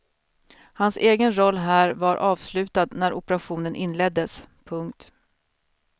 Hans egen roll här var avslutad när operationen inleddes. punkt